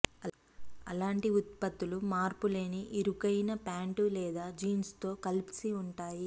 అలాంటి ఉత్పత్తులు మార్పులేని ఇరుకైన ప్యాంటు లేదా జీన్స్తో కలిపి ఉంటాయి